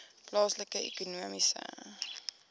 plaaslike ekonomiese